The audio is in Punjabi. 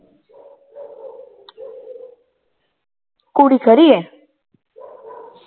ਕੁੜੀ ਖਰੀ ਹੈ l